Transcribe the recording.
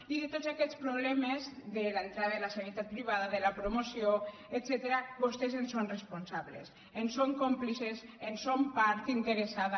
i de tots aquests problemes de l’entrada de la sanitat privada de la promoció etcètera vostès en són responsables en són còmplices en són part interessada